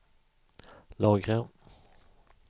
lagra